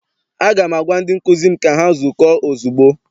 Aga m agwa ndị nkụzi m ka ha zukọọ ozugbo!